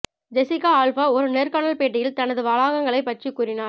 Jessica Alba ஒரு நேர்காணல் பேட்டியில் தனது வளாகங்களை பற்றி கூறினார்